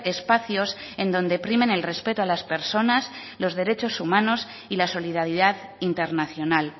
espacios en donde primen el respeto a las personas los derechos humanos y la solidaridad internacional